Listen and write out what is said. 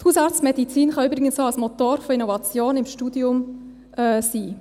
Die Hausarztmedizin kann übrigens auch ein Motor von Innovation im Studium sein.